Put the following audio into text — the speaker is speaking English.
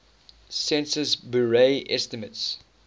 census bureau estimates